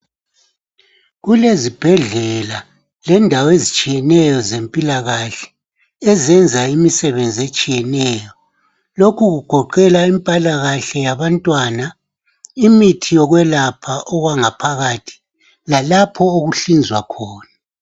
Kulezibhedlela lendawo ezitshiyeneyo ezempilakahle ezenza imisebenzi etshiyeneyo. Lokhu kugoqela impilakahle yabantwana, imithi yokwelapha okwangaphakathi lalapho okuhlinzwa khona.